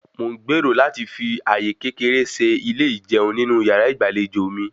Mò ń gbèrò láti fi àyè kékeré se ilé ijẹun nínú yàrá ìgbàlejò mi